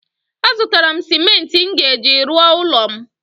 A zụtara m simenti m ga-eji rụọ ụlọ m